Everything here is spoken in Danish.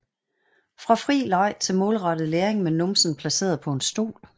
Fra fri leg til målrettet læring med numsen placeret på en stol